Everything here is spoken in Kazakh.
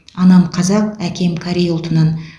анам қазақ әкем корей ұлтынан